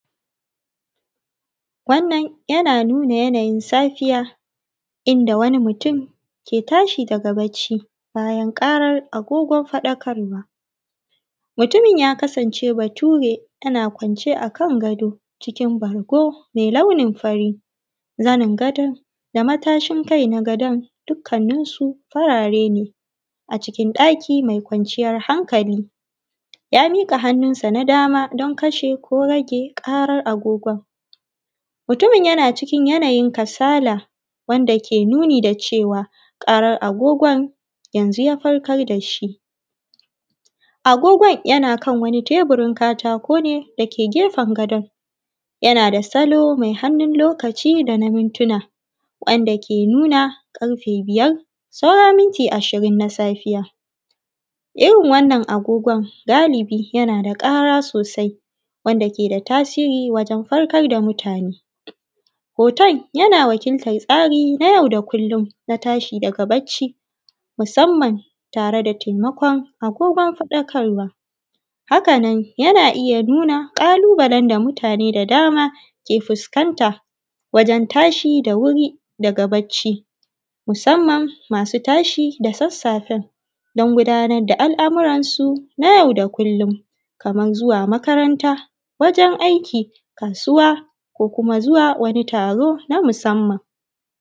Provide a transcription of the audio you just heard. Wannan yana nuna yanayin safiya, inda wani mutum ke tashi daga barci bayan ƙarar agogon faɗakarwa. Mutumin ya kasance Bature yana kwance a kan gado, cikin bargo mai launin fari. zanin gadon da matashin kai na gadon dukkaninsu farare ne a cikin ɗaki mai kwanciyar hankali. Ya miƙa hannunsa na dama don kashe ko rage ƙarar agogon. Mutumin yana cikin yanayin kasala, wanda ke nuni da cewa ƙarar agogon yanzu ya farkar da shi. Agogon yana kan wani tebirun katako ne da ke gefen gadon. Yana da salo mai hannun lokaci da na mintuna, wanda ke nuna ƙarfe biyar saura minti ashirin na safiya, Irin wannan agogon galibi yana da ƙara sosai, wanda ke da tasiri wajen farkar da mutane. Hoton yana wakiltar tsari na yau da kullun na tashi daga barci, musamman tare da taimakon agogon faɗakarwa. Haka nan yana iya nuna ƙalubalen da mutane da dama ke fuskanta, wajen tashi da wuri daga barci, musamman masu tashi da sassafen, don gudanar da al'amuransu na yau da kullum, kamar zuwa makaranta, wajen aiki, kasuwa ko kuma zuwa wani taro na musamman.